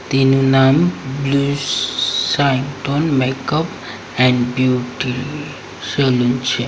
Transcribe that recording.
તેનું નામ blue sign tone makeup and beauty salon છે.